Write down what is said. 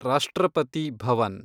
ರಾಷ್ಟ್ರಪತಿ ಭವನ್